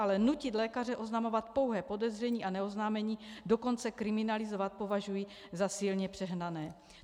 Ale nutit lékaře oznamovat pouhé podezření a neoznámení dokonce kriminalizovat považuji za silně přehnané.